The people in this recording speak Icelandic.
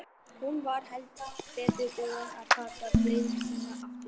Hún var heldur betur búin að taka gleði sína aftur.